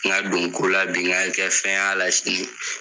Ŋa don ko la bi ŋa kɛ fɛn y'a la sini